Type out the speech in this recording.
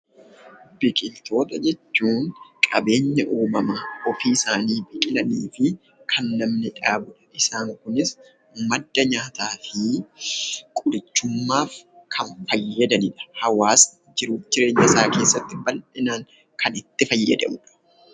Biqiltoota jechuun qabeenya uumamaa ofii isaanii biqilanii fi kan namni dhaabu. Isaan kunis madda nyaataa fi qorichummaaf kan fayyadanidha. Hawaasni jiruuf jireenya isaa keessatti bal'inaan kan itti fayyadamanidha.